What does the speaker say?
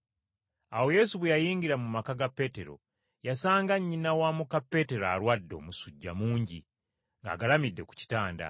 Awo Yesu bwe yayingira mu maka ga Peetero yasanga nnyina wa muka Peetero alwadde omusujja mungi, ng’agalamidde ku kitanda.